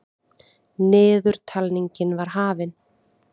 Niðurtalningin var hafin.